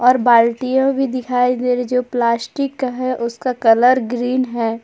और बाल्टी भी दिखाई दे रही है जो प्लास्टिक का है और उसका कलर ग्रीन है।